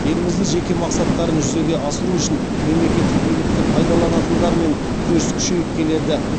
елімізде жеке мақсаттарын жүзеге асыру үшін мемлекеттік билікті пайдаланатындармен күрес күшейіп келеді